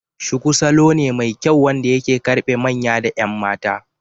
Shuku salo ne mai kyau wanda ya karbe manya da 'yan mata.